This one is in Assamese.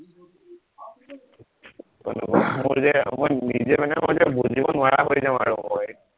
মোৰ যে এসময়ত নিজে মানে মই যে বুজিব নোৱাৰা হৈ যাও আৰু মই